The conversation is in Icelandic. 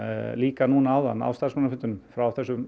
líka núna áðan á starfsmannafundinum frá þessum